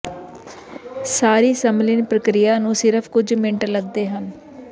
ਸਾਰੀ ਸੰਮਿਲਨ ਪ੍ਰਕਿਰਿਆ ਨੂੰ ਸਿਰਫ ਕੁਝ ਮਿੰਟ ਲੱਗਦੇ ਹਨ